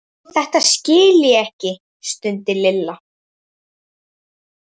Þetta skil ég ekki stundi Lilla.